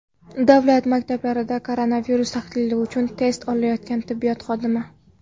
Davlat maktabida koronavirus tahlili uchun test olayotgan tibbiyot xodimi.